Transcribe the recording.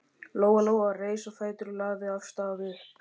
Lóa Lóa reis á fætur og lagði af stað upp.